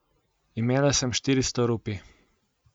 Imela sem štiristo rupij.